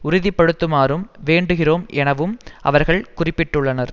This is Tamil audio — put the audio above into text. உறுதிப்படுத்துமாறும் வேண்டுகிறோம் எனவும் அவர்கள் குறிப்பிட்டுள்ளனர்